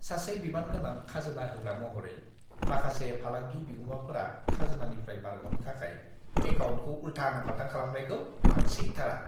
सासे बिबानगोनां खाजोना होग्रा महरै, माखासे फालांगि बिगुमाफोरा खाजोनानिफ्राय बारग'नो थाखाय एकाउन्टखौ उल्थां-फाल्थां खालामनायखौ आं सैथारा।